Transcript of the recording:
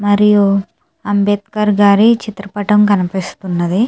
మరియు అంబేద్కర్ గారి చిత్రపటం కనిపిస్తుంది.